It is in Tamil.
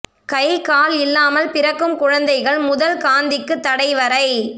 கை கால் இல்லாமல் பிறக்கும் குழந்தைகள் முதல் காந்திக்குத் தடை வரை